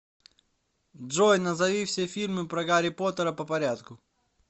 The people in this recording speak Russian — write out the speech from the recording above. джой назови все фильмы про гарри поттера по порядку